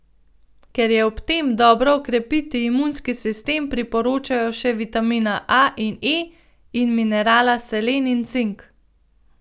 Ker je ob tem dobro okrepiti imunski sistem, priporočajo še vitamina A in E in minerala selen in cink.